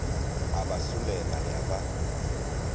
a ba solela ya ba